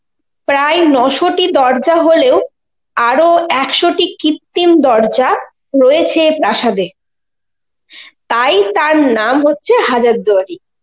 প্রায় নশো'টি দরজা হলেও, আরো একশটি কৃত্রিম দরজা রয়েছে এ প্রাসাদে, তাই তার নাম হচ্ছে হাজারদুয়ারি,